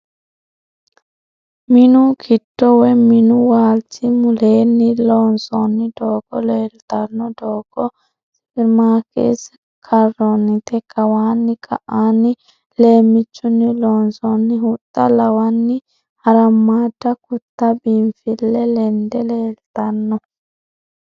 Minu giddo woyi minu waalchi muleenni loonsoonni doogo leeltanno. Doogo sewramikise karroonnite. Kawanna ka"aanni leemmiichunni loonsoonni huxxa lawanni harammaadda kutta biinfille ledde leeltanno.